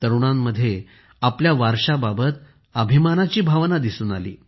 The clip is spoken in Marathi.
तरुणांमध्ये आपल्या वारशाबाबत अभिमानाची भावना दिसून आली